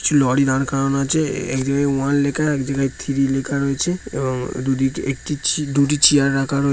কিছু লরি দাঁড় করানো আছে এক জায়গায় ওয়ান লেখা এক জায়গায় থ্রি লেখা রয়েছে এবং দুইদিকে একটি দুটি চেয়ার রাখা হয়ে--